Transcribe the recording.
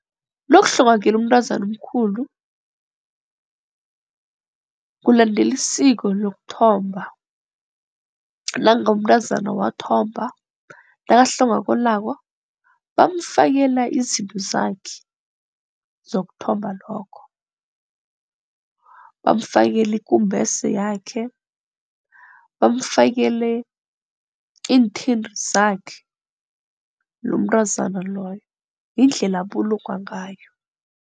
Nokuhlongakele umntazana omkhulu, kulandela isiko lokuthomba nangabe umntazana wathomba nakahlongwakalako bamfakela izinto zakhe zokuthomba lokho. Bamfakela ikumbese yakhe bamufakele iinthinti zakhe lomntazana loyo yindlela abulungwa ngayo.